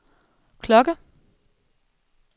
klokke